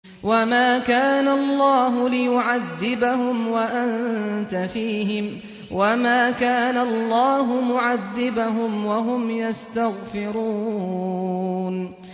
وَمَا كَانَ اللَّهُ لِيُعَذِّبَهُمْ وَأَنتَ فِيهِمْ ۚ وَمَا كَانَ اللَّهُ مُعَذِّبَهُمْ وَهُمْ يَسْتَغْفِرُونَ